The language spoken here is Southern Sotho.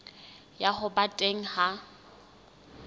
ya ho ba teng ha